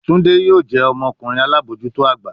Tunde yoo jẹ ọmọkunrin alabojuto agba